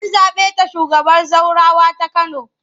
An zaɓe ta shugabar zaurawa ta Kano.